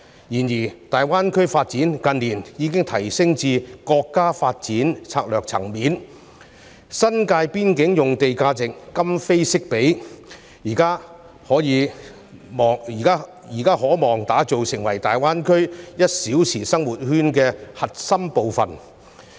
然而，大灣區發展近年已提升至國家發展策略層面，新界邊境用地的價值今非昔比，現時可望打造成為大灣區 "1 小時生活圈"的核心部分。